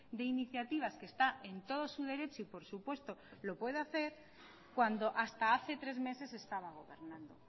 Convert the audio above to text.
de iniciativas que está en todo su derecho y por supuesto lo puede hacer cuando hasta hace tres meses estaba gobernando